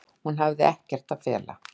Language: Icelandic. Hún hafi ekkert að fela.